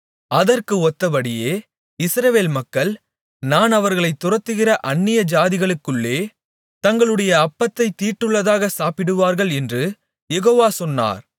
அதற்கு ஒத்தபடியே இஸ்ரவேல் மக்கள் நான் அவர்களைத் துரத்துகிற அந்நியஜாதிகளுக்குள்ளே தங்களுடைய அப்பத்தைத் தீட்டுள்ளதாகச் சாப்பிடுவார்கள் என்று யெகோவா சொன்னார்